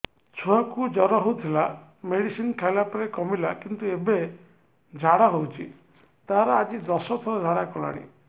ଛୁଆ କୁ ଜର ହଉଥିଲା ମେଡିସିନ ଖାଇଲା ପରେ କମିଲା କିନ୍ତୁ ଏବେ ଝାଡା ହଉଚି ତାର ଆଜି ଦଶ ଥର ଝାଡା କଲାଣି